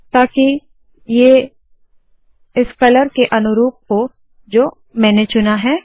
ताकि ये इस कलर के अनुरूप है जो मैंने चुना है